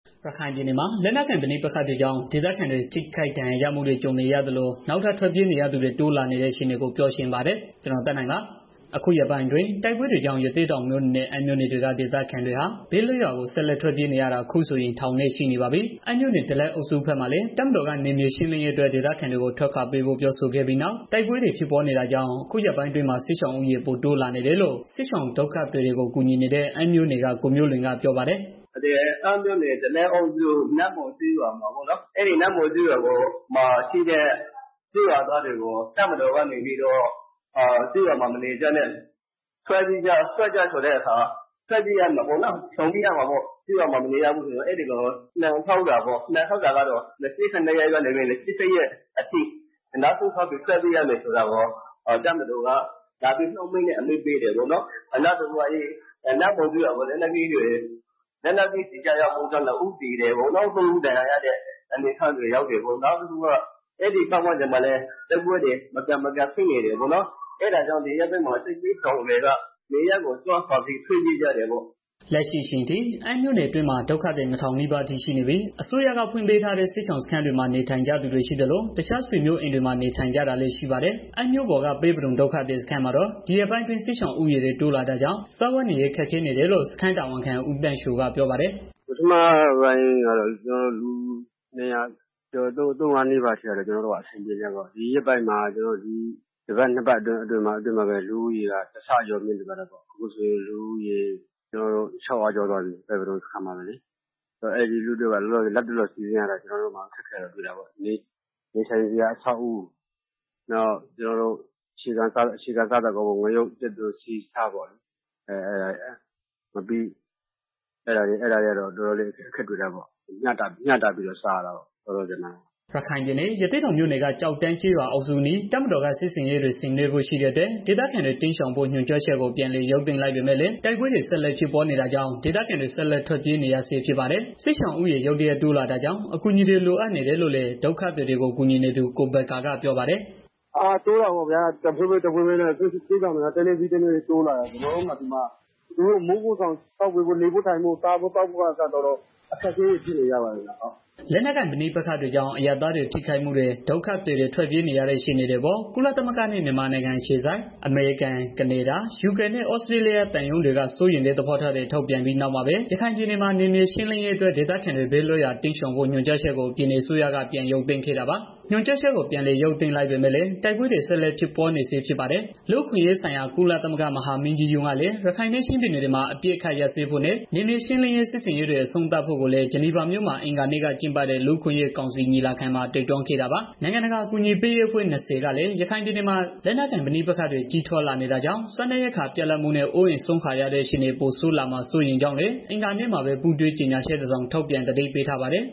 ရခိုင်ပြည်နယ်မှာ လက်နက်ကိုင် ပဋိပက္ခတွေကြောင့် ဒေသခံတွေ ထိခိုက်ဒဏ်ရာရမှုတွေ ကြုံနေရသလို၊ နောက်ထပ် ထွက်ပြေးနေကြသူတွေ တိုးလာနေတဲ့ အခြေအနေတွေကို ကိုသက်နိုင် ပြောပြမှာပါ။ အခုရက်ပိုင်းအတွင်း တိုက်ပွဲတွေကြောင့် ရသေ့တောင်မြို့နယ်နဲ့ အမ်းမြို့နယ်တွေက ဒေသခံတွေဟာ ဘေးလွတ်ရာ ဆက်လက် ထွက်ပြေးနေရတာ အခုဆိုရင် ထောင်နဲ့ချီရှိနေပါပြီ။ အမ်းမြို့နယ် ဒလက်အုပ်စုဘက်မှာလည်း တပ်မတော်က နယ်မြေရှင်းလင်းရေးအတွက် ဒေသခံတွေကို ထွက်ခွာပေးဖို့ ပြောဆိုခဲ့ပြီးနောက် တိုက်ပွဲတွေ ဖြစ်ပွားနေတာကြောင့် အခုရက်ပိုင်းအတွင်းမှာ စစ်ရှောင်ဦးရေ ပိုတိုးလာနေတယ်လို့ စစ်ရှောင်ဒုက္ခသည်တွေကို ကူညီနေတဲ့ အမ်းမြို့ နယ်က ကိုမျိုး လွင်က ပြောပါတယ်။ " အမ်းမြို့နယ် ဒလက်အုပ်စု နတ်မော်ကျေးရွာမှာ ရှိတဲ့ ကျေးရွာသားတွေကို တပ်မတော်က နေပြီးတော့ ကျေးရွာမှာမနေကြတဲ့ ထွက်ကြတာဆိုတော့ ထွက်ပေးရတာပေါ့။ နှင်ထုတ်တာကတော့ ဇွန်လ ၂၈ရက်ကနေ ၂၉ရက်အတွင်း နောက်ဆုံးထားပြီးတော့ ထွက်ပေးရမယ်ဆိုတာကို တပ်မတော်က လာပြီးတော့ နှုတ်မိန့်နဲ့ လာပြီး အမိန့်ပေးတာပေါ့နော်။နောက်တစ်ခုက နတ်မော်ကျေးရွာကို လက်နက်ကြီးကျည် ကျရောက်ပေါက်ကွဲခဲ့ တာကြောင့် ၂ဦးသေတယ်။ သုံးဦးဒဏ်ရာရတယ်။ ပြီးတော့ တိုက်ပွဲတွေလည်း မကြာမကြာဖြစ်နေတော့ ဒီရက်ပိုင်း မှာ စစ်ဘေးရှောင်တွေ နေရပ်စွန့် ထွက်ပြေးလာတာပေါ့နော်။" လက်ရှိအချိန်အမ်းမြို့နယ် အတွင်းမှာ ဒုက္ခသည် နှစ်ထောင်နီးပါးအထိရှိနေပြီး အစိုးကဖွင့်ပေးထားတဲ့ စစ်ရှောင်စခန်းတွေမှာ နေထိုင်ကြသူတွေ ရှိသလို တစ်ခြားဆွေမျိုးအိမ်တွေမှာ နေထိုင်နေကြတာ လည်းရှိပါတယ်။ အမ်းမြို့ပေါ်က ပဲပဒုံ ဒုက္ခသည်စခန်းမှာတော့ ဒီရက်ပိုင်းအတွင်း စစ်ရှောင်ဦးရေတွေ တိုးလာတာ ကြောင့် စားဝတ်နေရေး ခက်ခဲနေတယ်လို့ စခန်းတာဝန်ခံ ဦးသန်းချိုက ပြောပါတယ်။ " ပထမပိုင်းကတော့ ကျနော်တို့ ဒီစခန်းမှာ လူ ၂၀၀ကျော် ၃၀၀ လောက်သာရှိတော့ အဆင်ပြေတာပေါ့။ ဒီတစ်ပတ်အတွင်းမှာပဲ လူုဦးရေက တစ်ဆကျော်မြင့်တက်သွားတော့ ဒီစခန်းမှာ လူဦးရေ ၆၀၀ ကျော် သွားပြီ။ အဲတော့ အဲဒီလူတွေအတွက် လက်တလော စီစဉ်ရတာ ကျနော်တို့မှာ အခက် တွေ့တာပေါ့။ နေထိုင်စရာ အဆောက်အဦး နောက်အခြေခံ စားသောက်ကုန်တွေ ကတော့ တော်တော်လည်း အခက် တွေ့တာပေါ့ ။ မျှတပြီး တော့ စားရတာပေါ့။" ရခိုင်ပြည်နယ် ရသေ့တောင် မြို့နယ်က ကျောက်တန်း ကျေးရွာအုပ်စုအနီး တပ်မတော်က စစ်ဆင်ရေး တွေ ဆင်နွှဲဖို့ ရှိတဲ့အတွက် ဒေသခံတွေ တိမ်းရှောင်ဖို့ ညွှန်ကြား ချက်ကို ပြန်လည်ရုပ် သိမ်းလိုက်ပေမယ့် လည်း တိုက်ပွဲ တွေ ဆက်လက် ဖြစ်ပွားနေတာကြောင့် ဒေသခံတွေ ဆက်လက် ထွက်ပြေးနေဆဲ ဖြစ်ပါတယ်။ စစ်ရှောင်လူဦးရေ ရုတ်တရက်တိုးလာကြောင့် အကူအညီတွေ လိုအပ်နေတယ်လို့ လည်း ဒုက္ခသည်တွေကို ကူညီနေသူ ကိုဘက္ကာက ပြောပါတယ်။ " တိုးတာပေါ့ စစ်ရှောင်တွေက တစ်နေ့ပြီးတစ်နေ့ တိုးလာနေတော့ ကျနော်တို့မှာ နေဖို့ထိုင်ဖို့ စားဖို့သောက်ဖို့ကအစ တော်တော်လေးကို ခက်ခဲနေကြပါတယ်။" လက်နက်ကိုင်ပဋိပက္ခတွေကြောင့် အရပ်သားတွေ ထိခိုက်မှုတွေနဲ့ ဒုက္ခသည်တွေ ထွက်ပြေးနေရတဲ့ အခြေအနေတွေအပေါ် ကုလသမဂ္ဂနဲ့ မြန်မာနိုင်ငံအခြေစိုက် အမေရိကန်၊ ကနေဒါ၊ ယူကေနဲ့ သြစတြေးလျ သံရုံးတွေက စိုးရိမ်တဲ့ သဘောထားတွေ ထုတ်ပြန်ပြီး နောက်မှာပဲ ရခိုင်ပြည်နယ်မှာ နယ်မြေရှင်းလင်းရေးအတွက် ဒေသခံတွေ ဘေးလွတ်ရာ တိမ်းရှောင်ဖို့ ညွှန်ကြားချက်ကို ပြည်နယ်အစိုးရက ပြန်ရုပ်သိမ်းခဲ့တာပါ။ ညွှန်ကြားချက် ပြန်ရုပ်သိမ်းလိုက်ပေမဲ့လည်း တိုက်ပွဲတွေ ဆက်လက် ဖြစ်ပွားနေဆဲ ဖြစ်ပါ တယ်။ လူ့အခွင့်အရေးဆိုင်ရာ ကုလသမဂ္ဂ မဟာမင်းကြီးကလည်း ရခိုင်နဲ့ ချင်းပြည်နယ်တွေမှာ အပစ်အခတ်ရပ်စဲဖို့နဲ့ နယ်မြေရှင်းလင်းရေး စစ်ဆင်ရေးတွေ အဆုံးသတ်ဖို့လည်း Geneva မြို့မှာ အင်္ဂါနေ့က ကျင်းပတဲ့ လူ့အခွင့်အရေးကောင်စီ ညီလာခံမှာ တိုက်တွန်းခဲ့တာပါ။ နိုင်ငံတကာ အကူအညီပေးရေးအဖွဲ့ ၂၀ ကလည်း ရခိုင်ပြည်နယ်မှာ လက်နက်ကိုင် ပဋိပက္ခတွေ ကြီးထွားလာနေတာကြောင့် စားနပ်ရိက္ခာ ပြတ်လပ်မှုနဲ့ အိုးအိမ်စွန့်ခွာရတဲ့ အခြေအနေတွေ ပိုဆိုး လာမှာ စိုးရိမ်ကြောင်းလည်း အင်္ဂါနေ့မှာပဲ ပူးတွဲကြေညာချက်တစောင် ထုတ်ပြန် သတိပေး ထားပါတယ်